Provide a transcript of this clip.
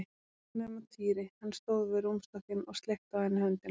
Nema Týri, hann stóð við rúmstokkinn og sleikti á henni höndina.